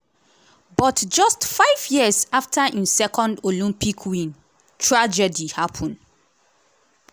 but just five years afta im second olympic win tragedy happun.